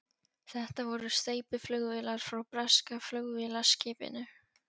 Þetta voru steypiflugvélar frá breska flugvélaskipinu